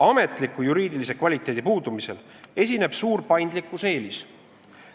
Ametliku juriidilise kvaliteedi puudumisel esineb suur paindlikkuse eelis.